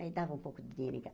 Aí dava um pouco de dinheiro em